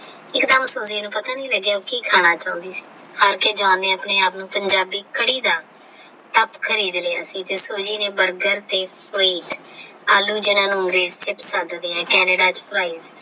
ਇੱਕ ਦਮ Soji ਨੂੰ ਪਤਾ ਨਹੀਂ ਲੱਗਿਆ ਕੀ ਖਾਣਾ ਚਾਹੁੰਦੀ ਸੀ ਹਾਰ ਕੇ John ਨੇ ਆਪਣੇ ਆਪ ਨੂੰ ਪੰਜਾਬੀ ਕੜੀ ਦਾ ਤਾਪ ਖਰੀਦ ਲਿਆ ਸੀ ਤੇ ਨੇ Soji ਤੇ ਆਲੂ ਜਿਨ੍ਹਾਂ ਨੂੰ ਮੇਦ ਕੇ ਪਸੰਦ ਦੀਆ Canada ਵਿੱਚ ਫਾਰਏ।